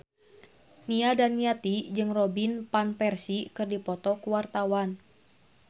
Nia Daniati jeung Robin Van Persie keur dipoto ku wartawan